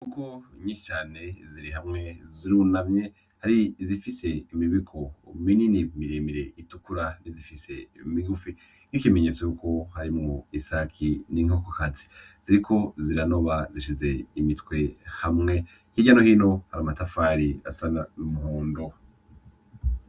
Inkoko nyinshi cane ziri hamwe zirunamye hari izifise imibiko minini miremire itukura n'izifise migufi nk'ikimenyetso ko harimwo isake n'inkokokazi ziriko ziranoba zishize imitwe hamwe hirya no hino hari amatafari asa n'umuhondo.